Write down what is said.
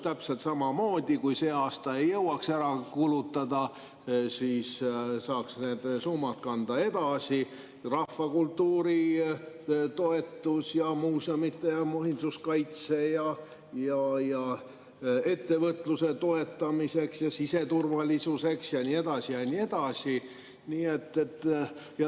Täpselt samamoodi, kui see aasta ei jõuaks ära kulutada, siis saaks need summad kanda edasi: rahvakultuuri toetuseks ja muuseumide ja muinsuskaitse ja ettevõtluse toetamiseks ja siseturvalisuseks ja nii edasi ja nii edasi.